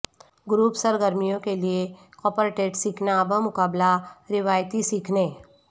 group سرگرمیوں کے لئے کوپرٹیٹ سیکھنا بمقابلہ روایتی سیکھنے